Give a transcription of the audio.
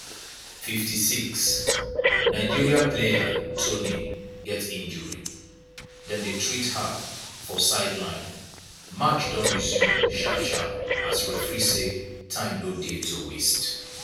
56' nigeria player toni get injury dem dey treat her for sideline match don resume sharp sharp as referee say time no dey to waste.